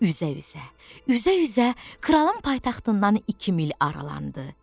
Üzə-üzə, üzə-üzə kralın paytaxtından iki mil aralandı.